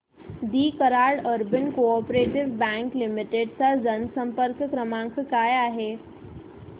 दि Karad urban coop bank limited चा जनसंपर्क क्रमांक काय आहे